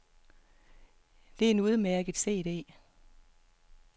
Det er en udmærket cd.